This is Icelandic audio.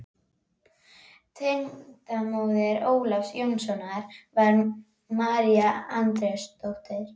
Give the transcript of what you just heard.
Tengdamóðir Ólafs Jónssonar var María Andrésdóttir.